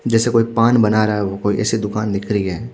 जेसे कोई पान बना रहा वो कोई ऐसी दुकान दिख रही है ।